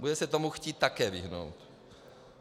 Budete se tomu chtít také vyhnout.